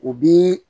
U bi